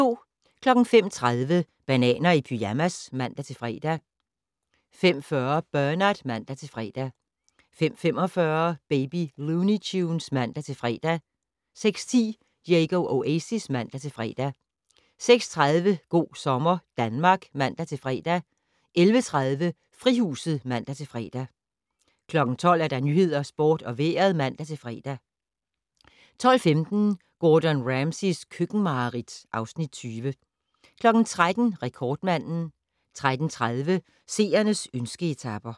05:30: Bananer i pyjamas (man-fre) 05:40: Bernard (man-fre) 05:45: Baby Looney Tunes (man-fre) 06:10: Diego Oasis (man-fre) 06:30: Go' sommer Danmark (man-fre) 11:30: Frihuset (man-fre) 12:00: Nyhederne, Sporten og Vejret (man-fre) 12:15: Gordon Ramsays køkkenmareridt (Afs. 20) 13:00: Rekordmanden 13:30: Seernes ønske-etaper